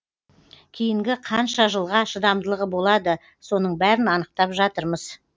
кейінгі қанша жылға шыдамдылығы болады соның бәрін анықтап жатырмыз